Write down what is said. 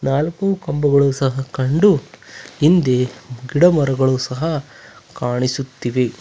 ನಾಲ್ಕು ಕಂಬಗಳು ಸಹ ಕಂಡು ಹಿಂದೆ ಗಿಡ ಮರಗಳು ಸಹ ಕಾಣಿಸುತ್ತಿವೆ.